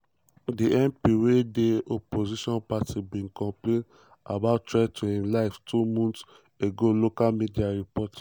di mp wey dey opposition party bin complain about threats to im life two months ago local media report.